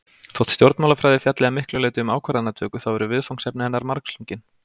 Þótt stjórnmálafræði fjalli að miklu leyti um ákvarðanatöku þá eru viðfangsefni hennar margslungin.